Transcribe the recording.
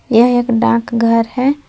यह एक डाक घर है।